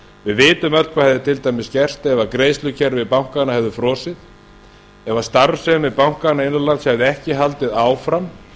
við vitum öll hvað hefði til dæmis gerst ef greiðslukerfi bankanna hefði frosið ef starfsemi bankanna innan lands hefði ekki haldið áfram